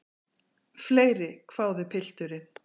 Fleiri, hváði pilturinn.